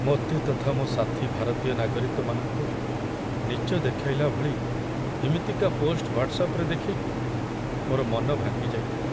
ମୋତେ ତଥା ମୋ ସାଥୀ ଭାରତୀୟ ନାଗରିକମାନଙ୍କୁ ନୀଚ ଦେଖାଇଲା ଭଳି ଏମିତିକା ପୋଷ୍ଟ ହ୍ୱାଟ୍ସଆପ୍‌ରେ ଦେଖି ମୋର ମନ ଭାଙ୍ଗିଯାଇଥିଲା।